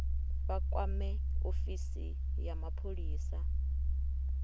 vha kwame ofisi ya mapholisa